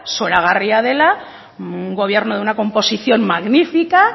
zoragarria dela un gobierno de una composición magnífica